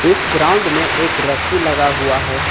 इस ग्राउंड में एक रस्सी लगा हुआ है।